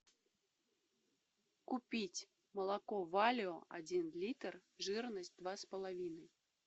купить молоко валио один литр жирность два с половиной